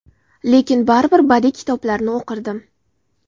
Lekin baribir badiiy kitoblarni o‘qirdim.